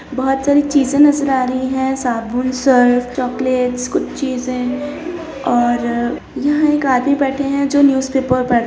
बहुत सारी चीज़ें नज़र आ रहीं हैं साबुन सर्फ़ चॉकलेट्स कुछ चीज़े और यहाँ एक आदमी बैठे हैं जो न्यूज़पेपर पढ़ --